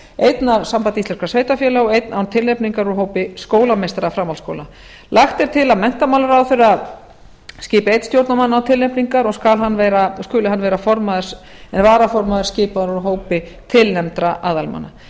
einn af sambandi íslenskra sveitarfélaga og einn án tilnefningar úr hópi skólameistara framhaldsskóla lagt er til að menntamálaráðherra skipi einn stjórnarmann án tilnefningar og skuli hann vara varaformaður skipaður úr hópi tilnefndra aðalmanna